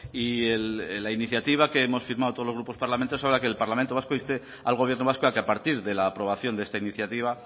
y la iniciativa que hemos firmado todos los grupos parlamentarios habla que el parlamento vasco inste al gobierno vasco a que a partir de la aprobación de esta iniciativa